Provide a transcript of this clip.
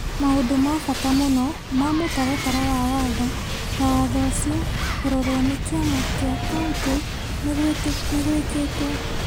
maũndũ ma bata mũno ma mũtaratara wa watho ta watho ũcio kũrorwo nĩ kĩama kĩa kauntĩ nĩ gwĩkĩtwo,